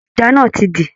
Ẹja náà ti dí.